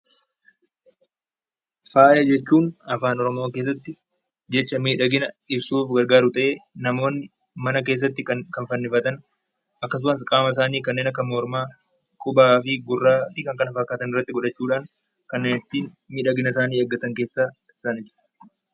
Faaya jechuun afaan Oromoo keessatti jecha miidhagina ibsuuf kan gargaaru ta'ee, namoonni mana keessatti kan fannifatan akkasumas qaama isaanii kanneen akka mormaa, qubaa fi gurraa fi kan kana fakkaatan irratti godhachuudhaan kanneen itti miidhagina isaanii eeggatani keessaa isaanidha.